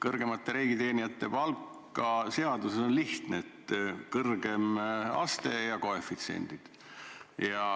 Kõrgemate riigiteenijate palk on seaduse kohaselt lihtne: on kõrgem aste ja koefitsiendid.